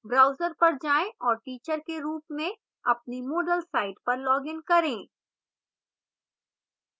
browser पर जाएँ और teacher के रूप में अपनी moodle site पर login करें